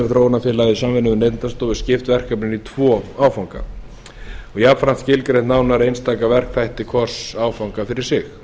í samvinnu við neytendastofu skipt verkefninu í tvo áfanga og jafnframt skilgreint nánar einstaka verkþætti hvors áfanga fyrir sig